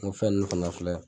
N ko fɛn ninnu fana filɛ